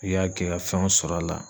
I y'a kɛ ka fɛnw sɔr'a la.